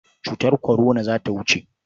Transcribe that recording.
Cutar kwarona za ta wuce.